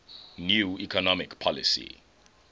new economic policy